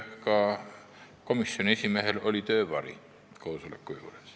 Ka komisjoni esimehe töövari oli koosolekul.